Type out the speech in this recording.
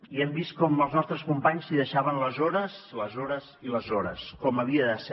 i hem vist com els nostres companys s’hi deixaven les hores les hores i les hores com havia de ser